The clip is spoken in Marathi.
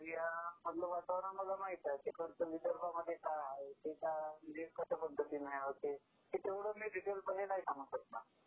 त्या एरिया मधलं वातावरण मला माहिती आहे, आता विदर्भामध्ये काय आहे ते काय कशा पद्धतीने होते, ते तेवढे मी डिटेल मध्ये नाही सांगू शकणार